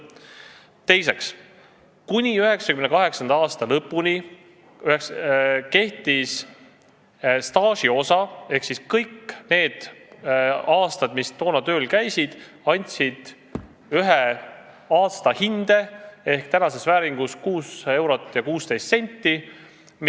Teiseks, kuni 1998. aasta lõpuni kehtis süsteem, et kõik need aastad, mis inimene oli tööl käinud, andsid ühe aastahinde ehk tänases vääringus 6 eurot ja 16 senti.